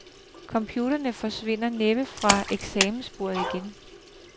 Computerne forsvinder næppe fra eksamensbordet igen.